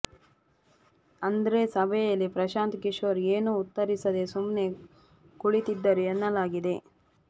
ಆದ್ರೆ ಸಭೆಯಲ್ಲಿ ಪ್ರಶಾಂತ್ ಕಿಶೋರ್ ಏನೂ ಉತ್ತರಿಸದೆ ಸುಮ್ಮನೇ ಕುಳಿತಿದ್ದರು ಎನ್ನಲಾಗಿದೆ